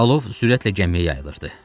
Alov sürətlə gəmiyə yayılırdı.